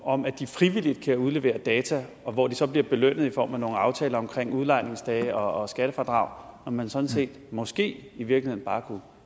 om at de frivilligt kan udlevere data og hvor de så bliver belønnet i form af nogle aftaler om udlejningsdage og skattefradrag når man sådan set måske i virkeligheden bare kunne